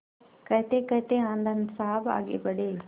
कहतेकहते आनन्द साहब आगे बढ़े